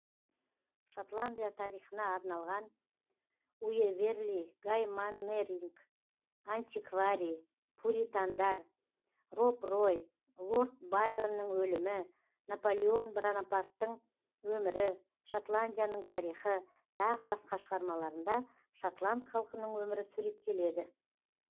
шотландия тарихына арналған уэверли гай маннеринг антикварий пуритандар роб рой лорд байронның өлімі наполеон бонопарттың өмірі шотландияның тарихы тағы басқа шығармаларында шотланд халқының өмірі суреттелді